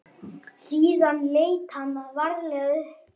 Síðan leit hann varlega upp.